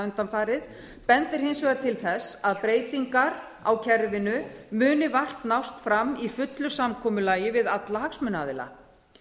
undanfarið bendir hins vegar til þess að breytingar á kerfinu muni vart nást fram í fullu samkomulagi við alla hagsmunaaðila